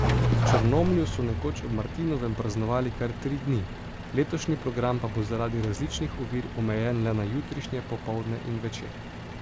V Črnomlju so nekoč ob martinovem praznovali kar tri dni, letošnji program pa bo zaradi različnih ovir omejen le na jutrišnje popoldne in večer.